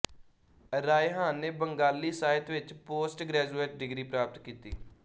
ਰਾਇਹਾਨ ਨੇ ਬੰਗਾਲੀ ਸਾਹਿਤ ਵਿੱਚ ਪੋਸਟ ਗ੍ਰੈਜੂਏਟ ਡਿਗਰੀ ਪ੍ਰਾਪਤ ਕੀਤੀ